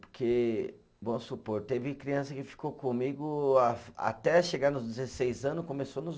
Porque, vamos supor, teve criança que ficou comigo a até chegar nos dezesseis anos, começou nos